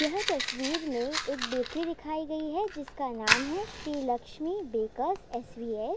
यह तस्वीर में एक बेकरी दिखाई गई है। जिसका नाम है Shri Lakshmi bakers S V S.